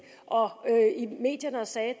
og i medierne og sagde